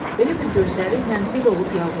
Elə bil gözləriylə dil olub yalvarır.